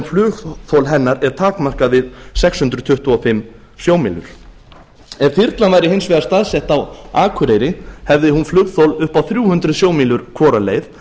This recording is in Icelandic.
flugþol hennar er takmarkað við sex hundruð tuttugu og fimm sjómílur ef þyrlan væri hins vegar staðsett á akureyri hefði hún flugþol upp á þrjú hundruð sjómílur hvora leið en